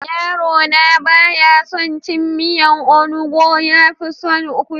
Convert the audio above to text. Yaro na baya son cin miyan onugbo, yafi son kubewa.